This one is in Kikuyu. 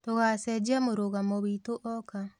Tũgacenjia mũrũgamo witũ oka